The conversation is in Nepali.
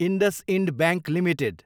IndusInd bank Ltd